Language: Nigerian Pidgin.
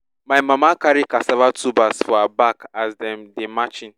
my mama carry cassava tubers for her back as dem dey march in